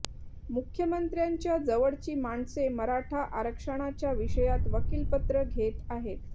मुख्यमंत्र्यांच्या जवळची माणसे मराठा आरक्षणाच्या विषयात वकीलपत्र घेत आहेत